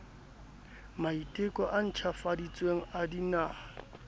maiteko a ntjhafaditsweng a dinaha